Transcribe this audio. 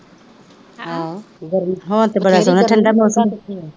ਅਹ ਹੁਣ ਤਾਂ ਬੜਾ ਠੰਡਾ ਮ